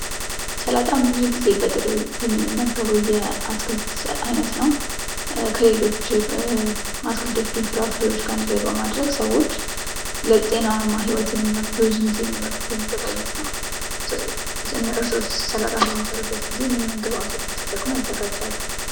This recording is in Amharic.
ሰላጣ ብዙ ጊዜ በጥሬው የምንመገበው የምግብ ዓይነት ነው። ከሌሎች አትክልቶችና ፍራፍሬዎች ጋር አንድ ላይ በማድረግ ሰዎች ለጤናማ ህይወት የሚመገቡት ብዙ ጊዜ የሚበሉት የምግብ ዓይነት ነው። እርሶስ ሰላጣ በሚሰሩበት ጊዜ ምን ምን ግባቶችን ተጠቅመው ያዘጋጃሉ!